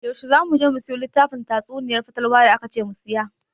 Yaushe za mu je mu siyo littafin tatsuniyar fatalwa da akace mu siya?